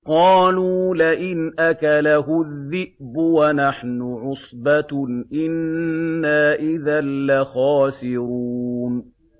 قَالُوا لَئِنْ أَكَلَهُ الذِّئْبُ وَنَحْنُ عُصْبَةٌ إِنَّا إِذًا لَّخَاسِرُونَ